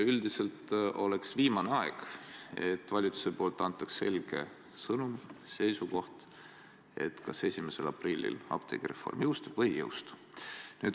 Üldiselt oleks viimane aeg, et valitsusest antaks selge sõnum, seisukoht, kas 1. aprillil apteegireform jõustub või ei jõustu.